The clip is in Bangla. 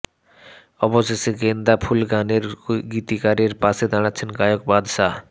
অবশেষে গেন্দা ফুল গানের গীতিকারের পাশে দাঁড়াচ্ছেন গায়ক বাদশা